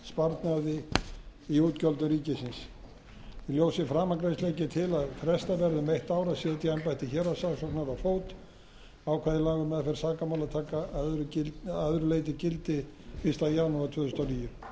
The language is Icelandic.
ríkisins í ljósi framangreinds legg ég til að frestað verði um eitt ár að setja embætti héraðssaksóknara á fót ákvæði laga um meðferð sakamála taki að öðru leyti gildi fyrsta janúar tvö